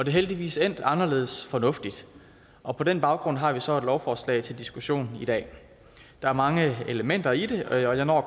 heldigvis endt anderledes fornuftigt og på den baggrund har vi så et lovforslag til diskussion i dag der er mange elementer i det og jeg når